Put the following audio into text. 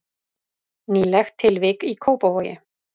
Nýlegt tilvik í Kópavogi